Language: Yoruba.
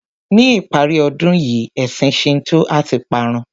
Ní ìparí ọdún yìí ẹ̀sìn Shinto a ti parun.